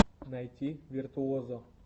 найти виртуозо